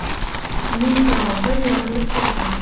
Uning trombi yorilib ketgan.